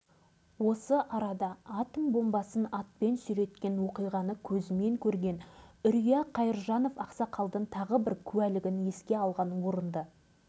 дәрігерлер нендей ауруға шалдыққанын жасырып айтпады енді міне тағы бір сіңілім дәл осындай асқазан ауруына ұшырады